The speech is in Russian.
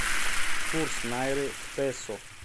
курс найры к песо